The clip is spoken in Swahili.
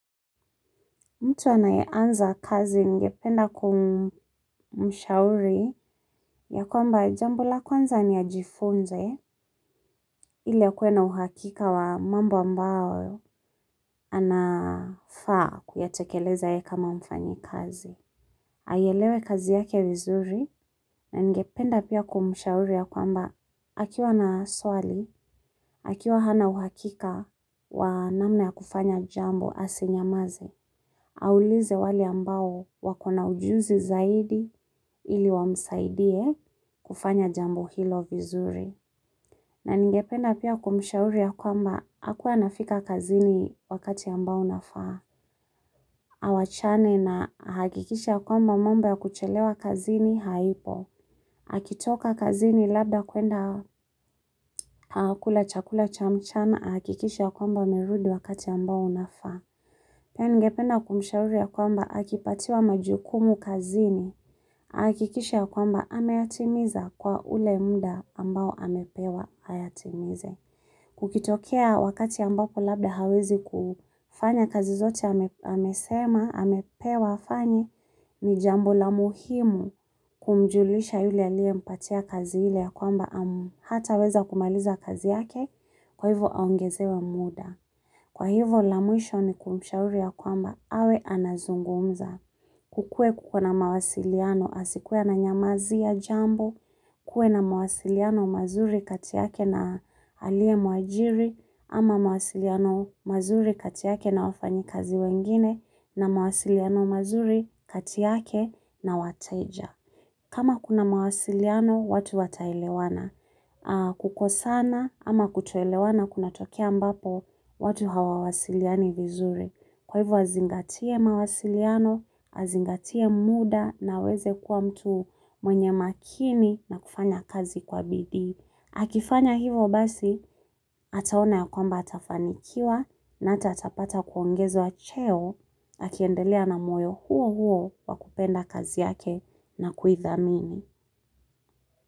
Mtu anaye anza kazi ningependa kumshauri yakwamba jambo la kwanza ni ajifunze ili akue na uhakika wa mambo ambao anafaa kuyatekeleza yeye kama mfanyi kazi. Aielewe kazi yake vizuri na ningependa pia kumshauri ya kwamba akiwa na swali, akiwa hana uhakika wa namna ya kufanya jambo asinyamaze. Aulize wale ambao wakona ujuzi zaidi ili wamsaidie kufanya jambo hilo vizuri. Na ningependa pia kumshauri ya kwamba akue anafika kazini wakati ambao unafaa. Awachane nahakikishe kwamba mambo ya kuchelewa kazini haipo. Akitoka kazini labda kwenda kukula chakula cha mchana hakikishe kwamba amerudi wakati ambao unafaa. Pia ningependa kumshauri ya kwamba akipatiwa majukumu kazini, hakikishe ya kwamba ameyatimiza kwa ule muda ambao amepewa ayatimize. Kukitokea wakati ambako labda hawezi kufanya kazi zote amesema, amepewa afanye ni jambo la muhimu kumjulisha yule aliye mpatia kazi hile ya kwamba hataweza kumaliza kazi yake kwa hivo aongezewe muda. Kwa hivyo la mwisho ni kumshauri ya kwamba, awe anazungumza. Kukue kukona mawasiliano asikuwe ananyamazia jambo, kuwe na mawasiliano mazuri katiyake na aliye muajiri, ama mawasiliano mazuri katiyake na wafanyikazi wengine, na mawasiliano mazuri kati yake na wateja. Kama kuna mawasiliano, watu wataelewana. Kukosana ama kutoelewana kunatokea ambapo, watu hawawasiliani vizuri. Kwa hivo azingatie mawasiliano, azingatie muda na aweze kuwa mtu mwenye makini na kufanya kazi kwa BD. Akifanya hivyo basi ataona ya kwamba atafanikiwa na atatapata kuongezwa cheo akiendelea na moyo huo huo wa kupenda kazi yake na kuithamini.